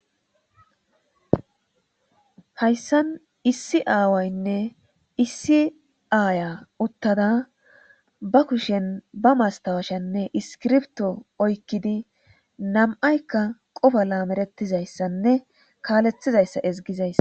Hayssan issi aawaynne issi aayiyaa uththada ba kushen ba masthawashanne iskirbtho oykkidi nam7aykka qofa laamereththizayssanne kaalethizayssa ezggizayssa.